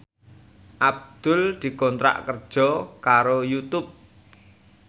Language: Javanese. Abdul dikontrak kerja karo Youtube